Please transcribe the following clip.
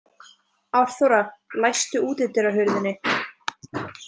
Árþóra, læstu útidyrahurðinni.